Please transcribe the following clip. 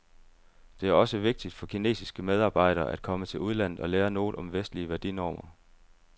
Det er også vigtigt for kinesiske medarbejdere at komme til udlandet og lære noget om vestlige værdinormer.